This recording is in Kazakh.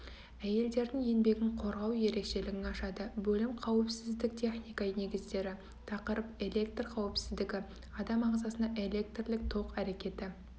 әйелдердің еңбегін қорғау ерекшелігін ашады бөлім қауіпсіздік техника негіздері тақырып электр қауіпсіздігі адам ағзасына электрлік ток әрекеті